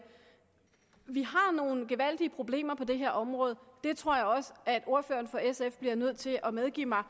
vi har nogle gevaldige problemer på det her område og det tror jeg også at ordføreren for sf bliver nødt til at medgive mig og